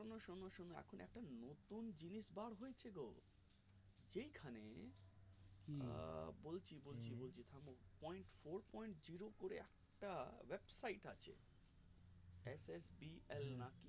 point four point zero করে একটা website আছে s h p l নাকি